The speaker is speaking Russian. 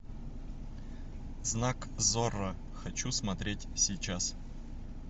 знак зорро хочу смотреть сейчас